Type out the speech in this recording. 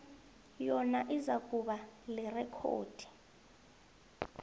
yona izakuba lirekhodi